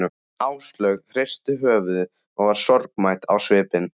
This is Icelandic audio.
Áslaug hristi höfuðið og var sorgmædd á svipinn.